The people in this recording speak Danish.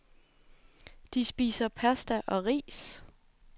De spiser pasta og ris.